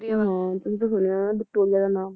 ਹਾਂ ਤੂੰ ਤਾਂ ਸੁਣਿਆ ਹੋਇਆ ਹੈ ਵਿਕਟੋਰਿਆ ਦਾ ਨਾਮ